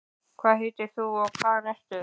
hvað heitir þú og hvaðan ertu?